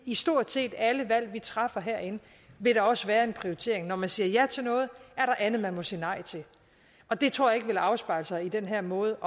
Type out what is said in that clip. i stort set alle valg vi træffer herinde vil der også være en prioritering når man siger ja til noget er der andet man må sige nej til og det tror jeg ikke vil afspejle sig i den her måde